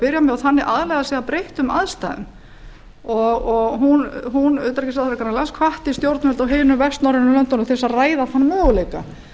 byrja með og þannig aðlaga sig að breyttum aðstæðum og hún utanríkisráðherra grænlands hvatti stjórnvöld á hinum vestnorrænu löndunum til að ræða þann möguleika